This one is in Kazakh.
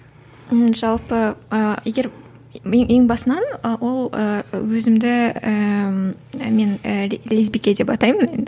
м жалпы ы егер ең басынан ы ол өзімд ііі мен ііі лесбике деп атаймын енді